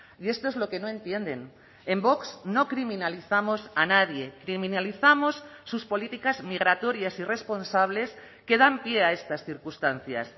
y esto es lo que no entienden en vox no criminalizamos a nadie criminalizamos sus políticas migratorias irresponsables que dan pie a estas circunstancias